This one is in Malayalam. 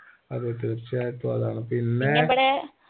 അതെ തീർച്ചയായിട്ടും അതാണ് പിന്നേ